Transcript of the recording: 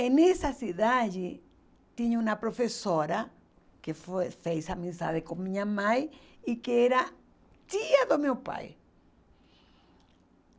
E nessa cidade tinha uma professora que foi fez amizade com minha mãe e que era tia do meu pai.